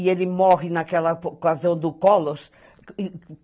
E ele morre naquela ocasião do Color